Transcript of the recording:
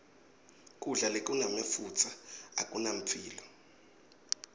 kudla lokunemafutsa akunamphilo